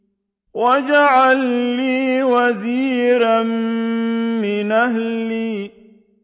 وَاجْعَل لِّي وَزِيرًا مِّنْ أَهْلِي